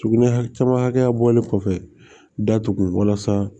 Sugunɛ hakɛ camanya bɔlen kɔfɛ datugu walasa